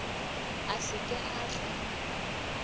a se ke a tla